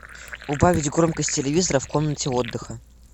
убавить громкость телевизора в комнате отдыха